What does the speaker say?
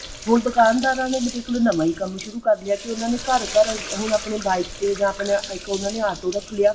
ਹੁਣ ਦੁਕਾਨਦਾਰਾਂ ਨੇ ਇੱਕ ਨਵਾਂ ਹੀ ਕੰਮ ਸ਼ੁਰੂ ਕਰ ਲਿਆ ਕੀ ਉਹਨਾ ਨੇ ਘਰ ਘਰ ਹੁਣ ਆਪਣੇ bike ਤੇ ਜਾਂ ਇੱਕ ਉਹਨਾਂ ਨੇ ਆਪਣਾ auto ਰੱਖ ਲਿਆ